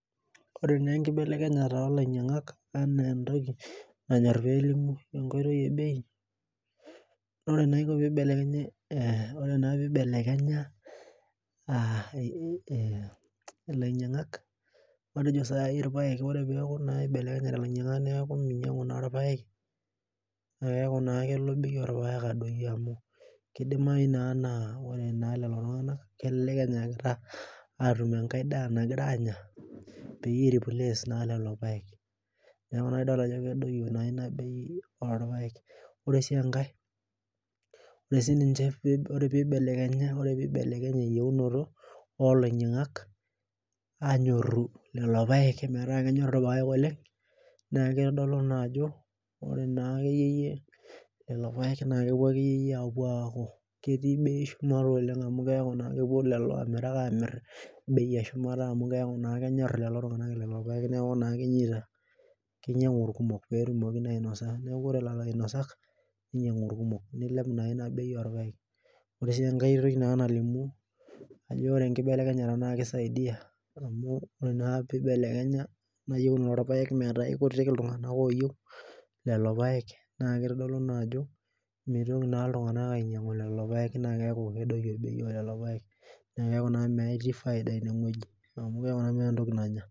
Ore naa enkibelekenyata olainyang'ak enaa entoki nanyor pelimu enkoitoi ebei, nore eniko pibelekenya ore naa pibelekenya ilainyang'ak matejo saai ore ake peeku naa ibelekenyate ilainyang'ak neeku minyang'u aa irpaek, na keku naa kelo bei orpaek adoyio amu kidimayu naa naa ore naa lelo tung'anak kelelek enyaakita atum enkae daa nagira anya, peyie i replace naa lelo paek. Neeku naa idol ajo kedoyio naa inabei orpaek. Ore si enkae, ore sininche ore pibelekenya eyieunoto olainyang'ak, anyorru lelo paek metaa kenyor irpaek oleng, naa kitodolu naajo ore naa akeyieyie lelo paek na kepuo akeyieyie apuo aku ketii bei shumata wabori oleng amu keeku naa kepuo lelo amirak amir bei eshumata amu keeku naa kenyor lelo tung'anak lelo paek neeku naa kenyita, kinyang'u irkumok petumoki naa ainosa. Neeku ore lelo ainosak, ninyang'u irkumok. Nilep naa ina bei orpaek. Ore enkae toki naa nalimu ajo ore enkibelekenyata na kisaidia amu ore naa pibelekenya enayieunoto orpaek metaa aikutik iltung'anak oyieu lelo paek, naa kitodolu naajo mitoki iltung'anak ainyang'u lelo paek na keeku kedoyio bei olelo paek. Na keeku naa metii faida inewoji. Amu keeku naa meeta entoki nanya.